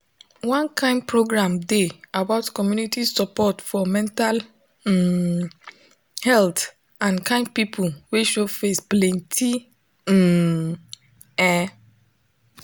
one kind program dey about community support for mental um health and kind people wey show face plenty um ehh